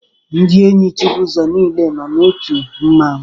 Ndị enyi Chibuzo niile nọ n'otu mmanwu